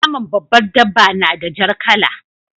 Naman babbar dabba na da jar kala.